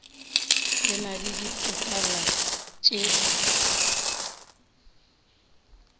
e na le dipetale tše